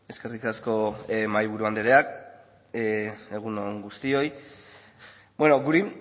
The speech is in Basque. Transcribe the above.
eskerrik asko mahaiburu anderea egun on guztioi beno guri